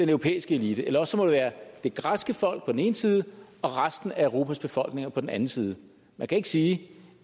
europæiske elite eller også må det være det græske folk på den ene side og resten af europas befolkninger på den anden side man kan ikke sige